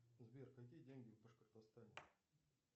сбер какие деньги в башкортостане